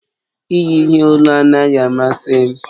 Iyi ihe olu anaghị amasị m.